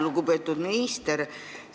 Lugupeetud minister!